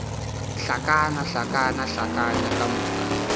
hlakana hlakana hlakana ka moka